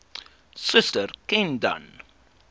suster ken dan